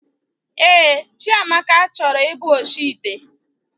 Ee, Chiamaka chọrọ ị bụ oshi ite